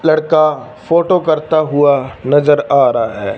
लड़का फोटो करता हुआ नजर आ रहा है।